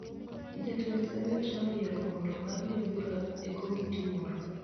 Jotend Senet noyiero mondo ong'adne bura e komiti moro